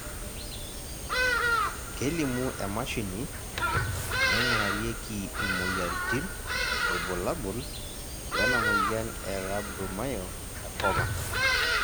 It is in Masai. kelimu emashini naingurarieki imoyiaritin irbulabol lena moyian e Rhabdomyosarcoma